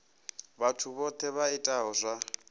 vhathu vhohe vha itaho zwa